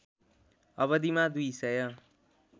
अवधिमा दुई सय